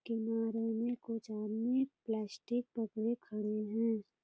किनारे में कुछ आदमी प्लास्टिक पकड़े खड़े हैं |